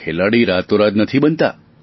ખેલાડી રાતોરાત નથી બનતા